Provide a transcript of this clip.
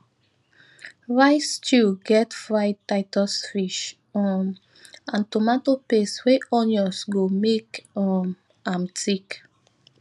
rice stew get fried titus fish um and tomato paste wey onions go make um am thick